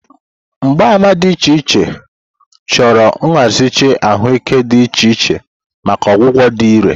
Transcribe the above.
Mgbaàmà dị iche iche, chọrọ nzaghachi ahụike dị iche iche maka ọgwụgwọ dị irè.